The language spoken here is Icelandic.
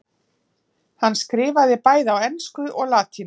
hann skrifaði bæði á ensku og latínu